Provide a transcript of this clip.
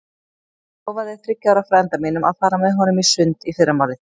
Ég lofaði þriggja ára frænda mínum að fara með honum í sund í fyrramálið.